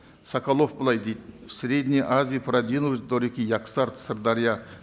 соколов былай дейді в средней азии продвинулись до реки яксарт сырдарья